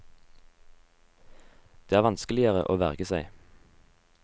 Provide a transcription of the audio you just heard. Det er vanskeligere å verge seg.